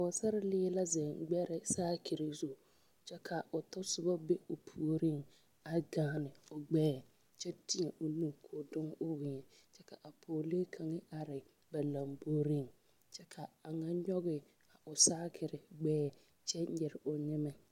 Pɔgesarelee la ziŋe gbɛre saakire zu kyɛ ka o tasoba be o puoriŋ a gaane o gbɛɛ kyɛ teɛ o nu koo dɔŋ o weɛ kyɛ ka a pɔgelee kaŋ are ba lamboriŋ ka a ŋa nyɔge o saakere gbɛɛ kyɛ nyere o nyɛ.